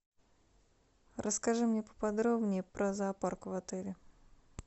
расскажи мне поподробнее про зоопарк в отеле